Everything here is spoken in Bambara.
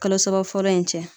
Kalo saba fɔlɔ in cɛ.